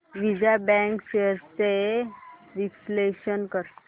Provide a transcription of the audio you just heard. Vijaya bank shares चे विश्लेषण कर